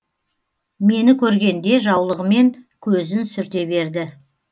мені көргенде жаулығымен көзін сүрте берді